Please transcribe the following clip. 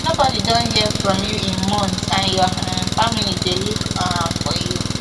nobody don hear from you in months and your um family dey look um for you